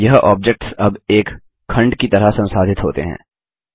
यह ऑब्जेक्ट्स अब एक खंड की तरह संसाधित होते हैं